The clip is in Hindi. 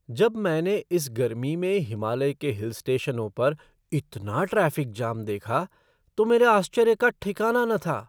जब मैंने इस गर्मी में हिमालय के हिल स्टेशनों पर इतना ट्रैफ़िक जाम देखा तो मेरे आश्चर्य का ठिकाना न था।